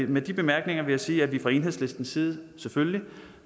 med de bemærkninger vil jeg sige at vi fra enhedslistens side selvfølgelig